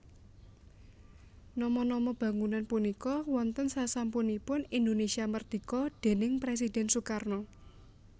Nama nama bangunan punika wonten sasampunipun Indonesia Merdika déning Presiden Sukarno